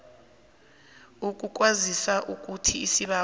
ukukwazisa ukuthi isibawo